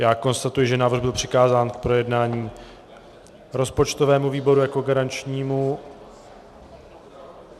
Já konstatuji, že návrh byl přikázán k projednání rozpočtovému výboru jako garančnímu.